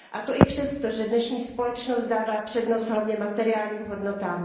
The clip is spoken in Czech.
A to i přesto, že dnešní společnost dává přednost hlavně materiálním hodnotám.